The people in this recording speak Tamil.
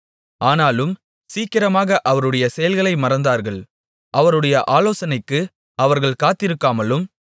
ஆனாலும் சீக்கிரமாக அவருடைய செயல்களை மறந்தார்கள் அவருடைய ஆலோசனைக்கு அவர்கள் காத்திருக்காமல்